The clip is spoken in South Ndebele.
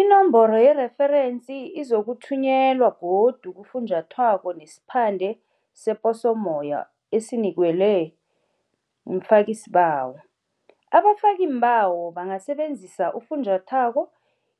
Inomboro yereferensi izokuthunyelwa godu kufunjathwako nesiphande seposommoya esinikelwe mfakisibawo. Abafakiimbawo bangasebenzisa ufunjathwako,